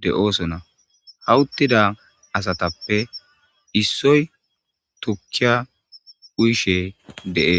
de'oosona hawuttida asatappe issoy tukkiya uyishe deees.